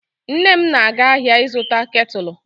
Nne m na-aga ahịa ịzụta ketụlụ.